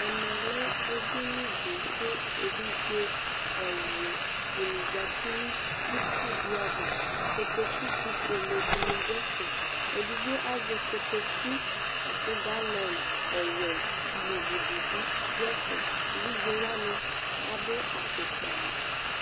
Ɛmɛ lɛ eɖiniɖi kʋ evidze ɛwlʋɖini zati nʋ itsuɖiava Kotoku fufueleɖini ɖʋ ɛfɛ Eɖigbo azɛ kotoku, akʋ galon ɔwuɛ l'ivuɖibi ɖʋ ɛfɛEvidzewani aɖʋ afukpa